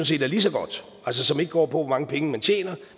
set er lige så godt altså som ikke går på hvor mange penge man tjener